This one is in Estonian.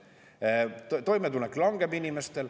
Inimeste toimetulek langeb.